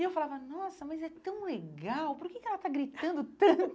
E eu falava, nossa, mas é tão legal, por que que ela está gritando tanto?